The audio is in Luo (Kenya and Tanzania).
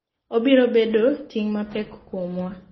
Obiro bedo ting’ mapek kuom wa